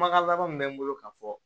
Kumakan laban min bɛ n bolo ka fɔ